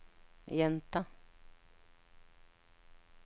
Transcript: gjenta